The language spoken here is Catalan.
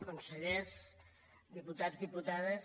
consellers diputats diputades